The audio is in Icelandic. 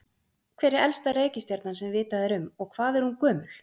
hver er elsta reikistjarnan sem vitað er um og hvað er hún gömul